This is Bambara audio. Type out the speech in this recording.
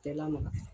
Bɛɛ lamaga